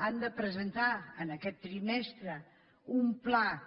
han de presentar aquest trimestre un pla